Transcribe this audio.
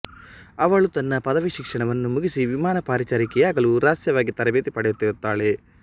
ಅವಳು ತನ್ನ ಪದವಿ ಶಿಕ್ಷಣವನ್ನು ಮುಗಿಸಿ ವಿಮಾನ ಪರಿಚಾರಕಿಯಾಗಲು ರಹಸ್ಯವಾಗಿ ತರಬೇತಿ ಪಡೆಯುತ್ತಿರುತ್ತಾಳೆ